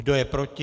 Kdo je proti?